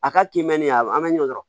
A ka kiimɛni a an bɛ ɲɔ kɔrɔ